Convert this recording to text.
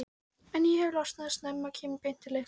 en ef ég losna snemma kem ég beint til ykkar.